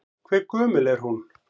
Hve gömul er hún?